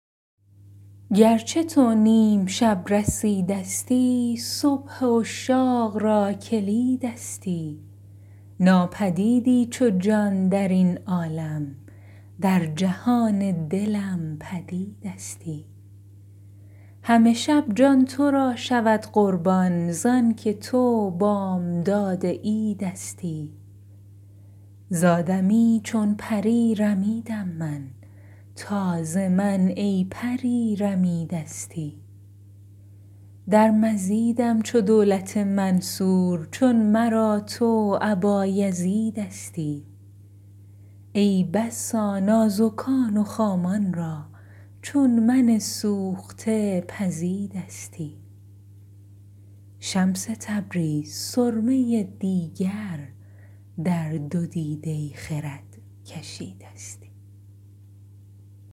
گرچه تو نیم شب رسیدستی صبح عشاق را کلیدستی ناپدیدی چو جان در این عالم در جهان دلم پدیدستی همه شب جان تو را شود قربان ز آن که تو بامداد عیدستی ز آدمی چون پری رمیدم من تا ز من ای پری رمیدستی در مزیدم چو دولت منصور چون مرا تو ابایزیدستی ای بسا نازکان و خامان را چون من سوخته پزیدستی شمس تبریز سرمه دیگر در دو دیده خرد کشیدستی